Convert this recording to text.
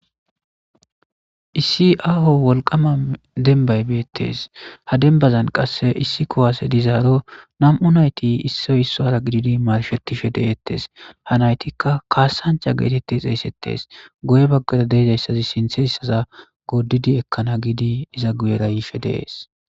Issi aaho wolqama denbay beettes ha dembazan qasse issi kuwase dizaaro nam7u nayti issoy issora gididi marshetishe deettes ha naytikka kaasancha geetette xeesettes goye baggada deezayssazi sinthessaza goodidi ekkana giidi iza guyera yiife dees.